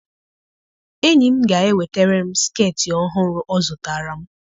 Enyi m ga-ewetara m skeetị ọhụrụ ọ zụtara m.